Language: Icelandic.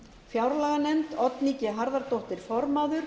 fjárlaganefnd oddný g harðardóttir formaður